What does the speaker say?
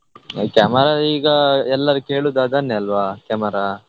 ಅ camera ಈಗ ಎಲ್ಲರೂ ಕೇಳುದು ಅದನ್ನೆ ಅಲ್ವಾ camera .